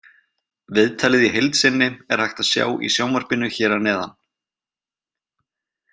Viðtalið í heild sinni er hægt að sjá í sjónvarpinu hér að neðan.